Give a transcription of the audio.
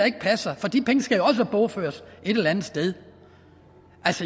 ikke passer for de penge skal jo også bogføres et eller andet sted